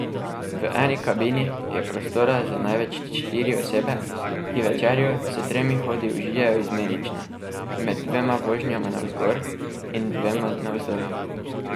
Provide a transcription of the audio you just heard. V eni kabini je prostora za največ štiri osebe, ki večerjo s tremi hodi užijejo izmenično med dvema vožnjama navzgor in dvema navzdol.